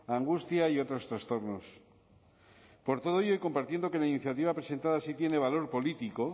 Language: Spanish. angustia y otros trastornos por todo ello y compartiendo que la iniciativa presentada sí tiene valor político